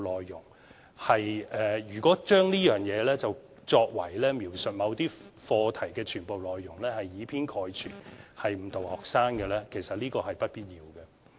如果將這些手法當作為描述某些課題的全部內容，認為是以偏概全、誤導學生的話，其實是不必要的。